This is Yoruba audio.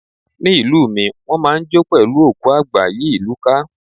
Ní ìlú mi, wón máa ń jó pẹ̀lú òkú àgbà yí ìlú ká.